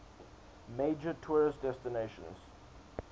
major tourist destination